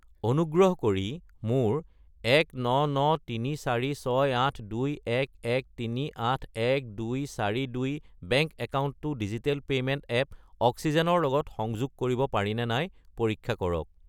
অনুগ্ৰহ কৰি মোৰ 1993468211381242 বেংক একাউণ্টটো ডিজিটেল পে'মেণ্ট এপ অক্সিজেন ৰ লগত সংযোগ কৰিব পাৰিনে নাই পৰীক্ষা কৰক।